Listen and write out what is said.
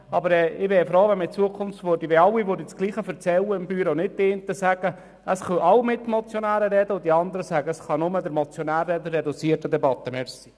Ich wäre froh, wenn in Zukunft alle im Büro das Gleiche erzählen, und die einen nicht sagen würden, es könnten alle Mitmotionäre sprechen, wohingegen die anderen sagen, nur der Motionär könne in einer reduzierten Debatte reden.